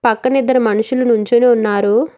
పక్కనే ఇద్దరు మనుషులు నించొని ఉన్నారు.